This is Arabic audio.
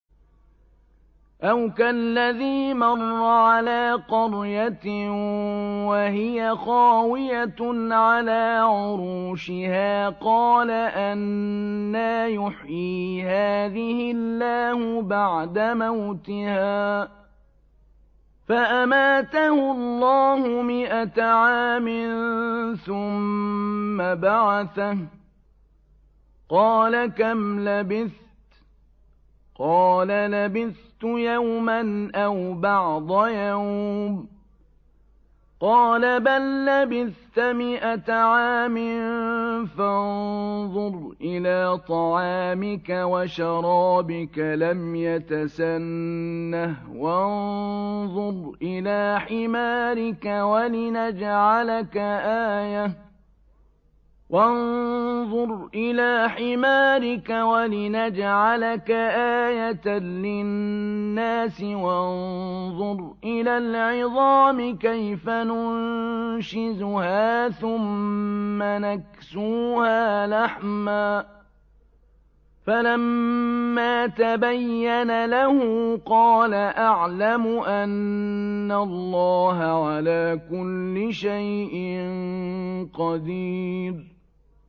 أَوْ كَالَّذِي مَرَّ عَلَىٰ قَرْيَةٍ وَهِيَ خَاوِيَةٌ عَلَىٰ عُرُوشِهَا قَالَ أَنَّىٰ يُحْيِي هَٰذِهِ اللَّهُ بَعْدَ مَوْتِهَا ۖ فَأَمَاتَهُ اللَّهُ مِائَةَ عَامٍ ثُمَّ بَعَثَهُ ۖ قَالَ كَمْ لَبِثْتَ ۖ قَالَ لَبِثْتُ يَوْمًا أَوْ بَعْضَ يَوْمٍ ۖ قَالَ بَل لَّبِثْتَ مِائَةَ عَامٍ فَانظُرْ إِلَىٰ طَعَامِكَ وَشَرَابِكَ لَمْ يَتَسَنَّهْ ۖ وَانظُرْ إِلَىٰ حِمَارِكَ وَلِنَجْعَلَكَ آيَةً لِّلنَّاسِ ۖ وَانظُرْ إِلَى الْعِظَامِ كَيْفَ نُنشِزُهَا ثُمَّ نَكْسُوهَا لَحْمًا ۚ فَلَمَّا تَبَيَّنَ لَهُ قَالَ أَعْلَمُ أَنَّ اللَّهَ عَلَىٰ كُلِّ شَيْءٍ قَدِيرٌ